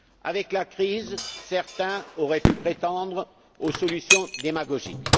Avec la crise, certains auraient pu prétendre aux solutions démagogiques.